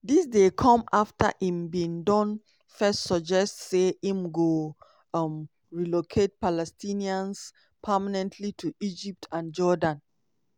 dis dey come afta im bin don first suggest say im go um "relocate" palestinians permanently to egypt and jordan.